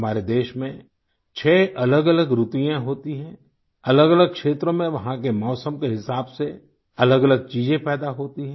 हमारे देश में छह अलगअलग ऋतुयें होती हैं अलगअलग क्षेत्रों में वहाँ के मौसम के हिसाब से अलगअलग चीजें पैदा होती हैं